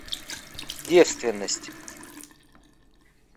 девственность